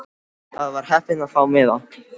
Ég var heppin að fá miða.